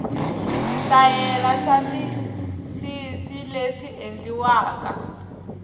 switayela swa misisileswi endliwaka